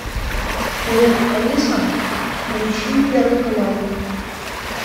привет алиса включи первый канал